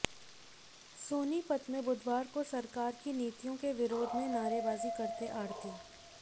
सोनीपत में बुधवार को सरकार की नीतियों के विरोध में नारेबाजी करते आढ़ती